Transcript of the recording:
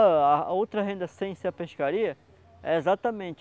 O o a a outra renda sem ser pescaria, é exatamente